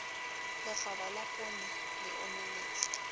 lekgaba la poone le omeletse